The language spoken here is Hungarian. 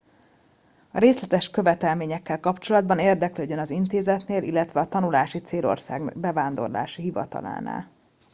a részletes követelményekkel kapcsolatban érdeklődjön az intézetnél illetve a tanulási célország bevándorlási hivatalánál